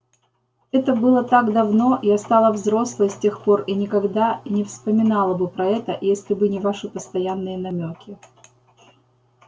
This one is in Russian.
это было так давно я стала взрослой с тех пор и никогда и не вспомнила бы про это если бы не ваши постоянные намёки